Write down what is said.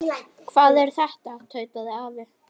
Hvað er þetta? tautaði afi.